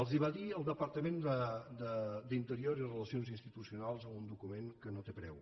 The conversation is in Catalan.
els ho va dir el departament d’interior i relacions institucionals en un document que no té preu